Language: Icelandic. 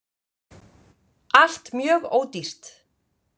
ALLT MJÖG ÓDÝRT!